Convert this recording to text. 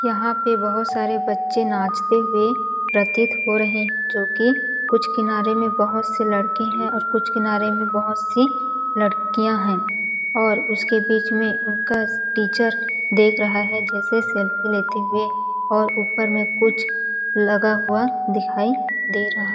यहाँ पे बहोत सारे बच्चे नाचते हुए प्रतीत हो रहे है जो की कुछ किनारे में बहोत लड़के है और कुछ किनारे में बहोत सी लड़किया है और उसके बीच में उनका टीचर देख रहा है जैसे सेल्फी लेते हुए और ऊपर में कुछ लगा हुआ दिखाई दे रहा--